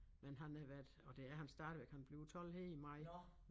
Men han har været og det er han stadigvæk han bliver 12 her i maj